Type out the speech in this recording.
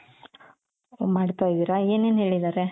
ಓಹ್ ಮಾಡ್ತಾ ಇದೀರ ಏನೇನ್ ಹೇಳಿದಾರೆ ?